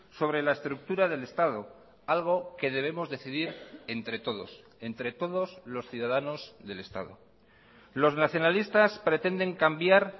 sobre la estructura del estado algo que debemos decidir entre todos entre todos los ciudadanos del estado los nacionalistas pretenden cambiar